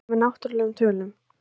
Reiknað með náttúrlegum tölum.